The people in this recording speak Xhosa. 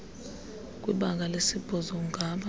kwibanga lesibhozo ungaba